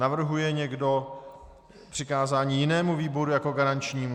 Navrhuje někdo přikázání jinému výboru jako garančnímu?